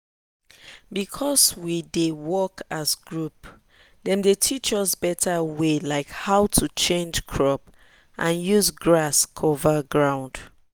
because say we dey work as group dem dey teach us better way like how to change crop and use grass cover ground.